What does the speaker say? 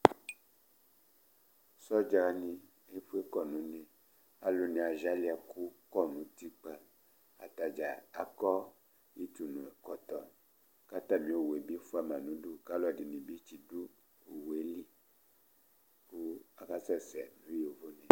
Sɔdza ni efʋe kɔ nʋ ʋne kʋ alu ni aziali ɛkʋ kɔ nʋ ʋtikpa Atadza akɔ ʋtʋnʋ ɛkɔtɔ kʋ atami owu bi fʋama nʋ ʋdu kʋ alʋɛdìní ti du owu li kʋ asɛsɛ nʋ yovone